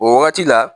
O wagati la